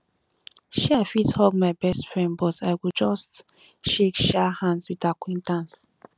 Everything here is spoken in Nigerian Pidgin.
um i fit hug my best friend but i go just shake um hands with acquaintances